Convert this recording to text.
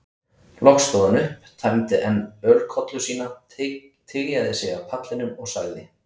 Loks stóð hann upp, tæmdi enn ölkollu sína, tygjaði sig af pallinum og sagði